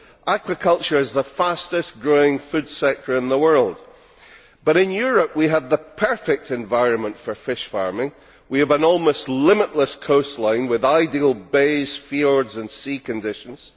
Aquaculture is the fastest growing food sector in the world, and in Europe we have the perfect environment for fish farming we have an almost limitless coastline with ideal bays, fjords and sea conditions